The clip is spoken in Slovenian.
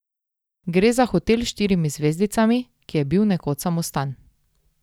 Gre za hotel s štirimi zvezdicami, ki je bil nekoč samostan.